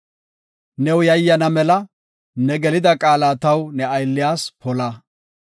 New yayyana mela, ne gelida qaala, taw ne aylliyas, pola.